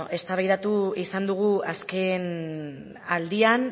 eztabaidatu izan dugu azken aldian